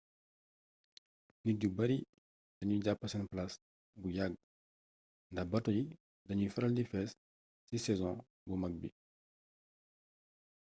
nit yu bari dañuy jàpp seen palaas bu yagg ndax bato yi dañuy faral di fees ci sezon bu mag bi